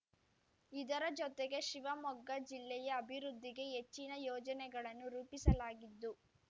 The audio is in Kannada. ಇದರ ಜೊತೆಗೆ ಶಿವಮೊಗ್ಗ ಜಿಲ್ಲೆಯ ಅಭಿವೃದ್ಧಿಗೆ ಹೆಚ್ಚಿನ ಯೋಜನೆಗಳನ್ನು ರೂಪಿಸಲಾಗಿದ್ದು